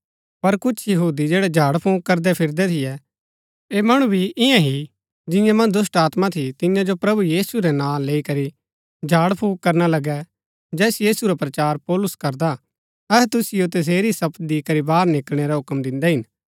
पर कुछ यहूदी जैड़ै झाड़फूँक करदै फिरदै थियै ऐह मणु भी ईयां ही जिंआं मन्ज दुष्‍टात्मा थी तियां जो प्रभु यीशु रै नां लैई करी झाड़फूँक करना लगै जैस यीशु रा प्रचार पौलुस करदा हा अहै तुसिओ तसेरी ही शपथ दी करी बाहर निकळणै रा हूक्म दिन्दै हिन